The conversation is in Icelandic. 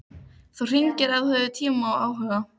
Þú hringir ef þú hefur tíma og áhuga.